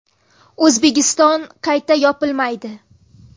O‘zbekiston qayta yopilmaydi.